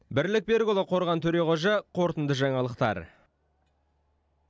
бірлік берікұлы қорған төреқожа қорытынды жаңалықтар